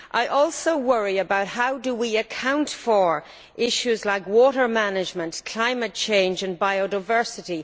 I also worry about how we can account for issues like water management, climate change and biodiversity.